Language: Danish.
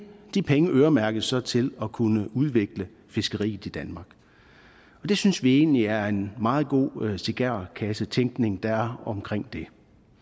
de penge øremærkes så til at kunne udvikle fiskeriet i danmark det synes vi egentlig er en meget god cigarkassetænkning der er omkring det